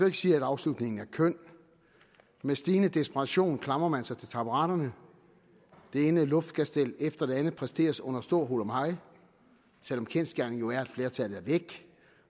ikke sige at afslutningen er køn med stigende desperation klamrer man sig til taburetterne det ene luftkastel efter det andet præsteres under stor hurlumhej selv om kendsgerningen er at flertallet er væk